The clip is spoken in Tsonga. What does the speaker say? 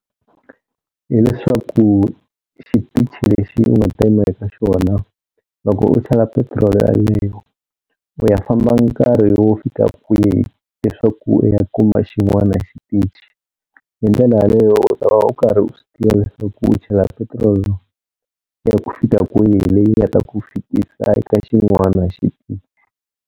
Hi leswaku xitichi lexi u nga ta yima eka xona loko u chela petiroli yaleyo u ya famba nkarhi wo fika kwihi leswaku u ya kuma xin'wana xitichi, hi ndlela yaleyo u ta va u karhi u swi tiva leswaku u chela petiroli ya ku fika kwihi leyi nga ta ku fikisa eka xin'wana xitichi.